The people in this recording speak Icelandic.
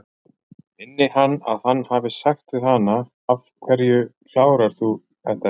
Minni hann að hann hafi sagt við hana: Af hverju klárar þú þetta ekki?